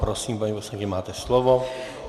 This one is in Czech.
Prosím, paní poslankyně, máte slovo.